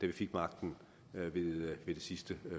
vi fik magten ved det sidste